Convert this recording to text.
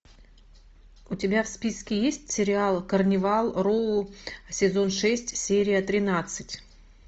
у тебя в списке есть сериал карнивал роу сезон шесть серия тринадцать